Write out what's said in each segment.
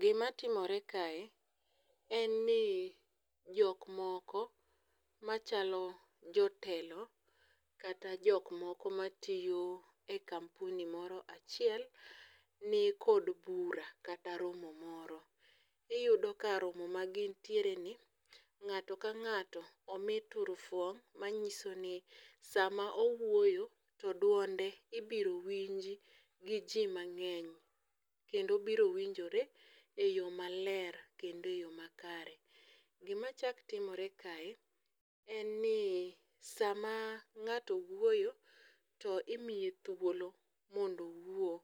Gima timore kae, en ni jok moko machalo jotelo ,kata jok moko matiyo e kampuni moro achiel, ni kod bura kata romo moro. Iyudo ka romo ma gintiere ni, ng'ato ka ng'ato omi turufuong', manyiso ni, sama owuoyo to duonde ibiro winji gi jii mang'eny, kendo biro winjore e yoo maler kendo e yoo makare. Gima chak timoire kae, en ni sama ng'ato wuoyo to imiye thuolo mondo owuo,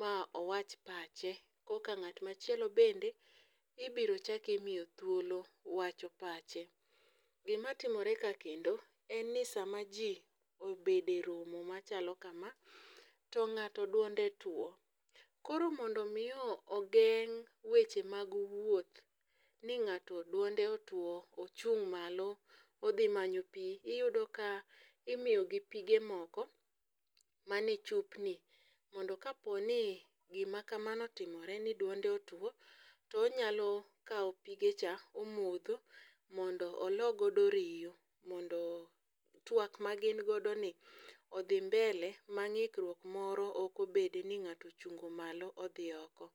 ma owach pache , koka ng'at ma chielo bende, ibiro chak imiyo thuolo wach pache. Gima timore ka kendo en ni sama ji obedo e romo machalo kama, to ng'ato duonde two. Koro mondo mi ogeng' weche mag wuoth, ni ng'ato duonde otwo, ochung' malo odhi manyo pii, iyudo ka imiyogi pige moko manie chupni mondo ka poni gima kamano otimore ni dwonde otwo, to onyalo kawo pigecha omodho, mondo olo godo riyo ,mondo twak ma gin godo ni odhi mbele ma ng'ikruok moro ok obede ni ng'ato ochungo malo odhi oko.